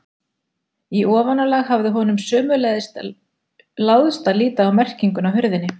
Í ofanálag hafði honum sömuleiðis láðst að líta á merkinguna á hurðinni.